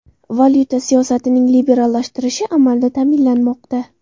Valyuta siyosatining liberallashtirilishi amalda ta’minlanmoqda.